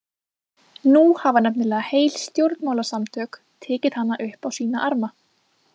Nú hafa nefnilega heil stjórnmálasamtök tekið hana upp á sína arma.